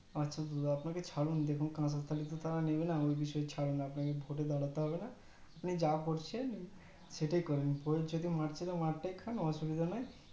আচ্ছা ছাড়ুন কাঁসার থালা তো ওরা নেবেন ওই বিষয়ে ছাড়ুন আপনাকে ভোট দাঁড়াতে হবেনা আপনি যা করছেন সেটাই করেন প্রয়োজনে মার তা খাচ্ছিলেন মার তাই খান অসুবিধা নাই